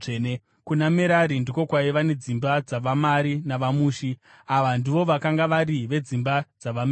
Kuna Merari ndiko kwaiva nedzimba dzavaMari navaMushi; ava ndivo vakanga vari vedzimba dzavaMerari.